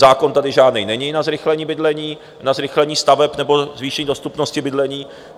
Zákon tady žádný není na zrychlení bydlení, na zrychlení staveb nebo zvýšení dostupnosti bydlení.